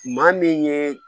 Maa min ye